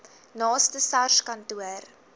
naaste sars kantoor